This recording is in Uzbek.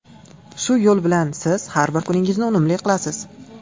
Shu yo‘l bilan siz har bir kuningizni unumli qilasiz.